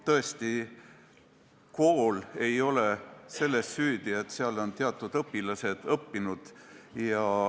Tõesti, kool ei ole selles süüdi, et seal on teatud õpilased õppinud.